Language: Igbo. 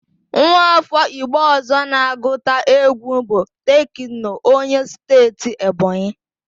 Nwa áfọ́ Igbo ọ̀zọ́ na-agụta égwú bụ Tekno, onye Steeti Ebonyi.